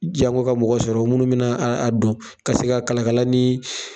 jango ka mɔgɔ sɔrɔ minnu mi na dɔn ka se ka kalakalalan ni.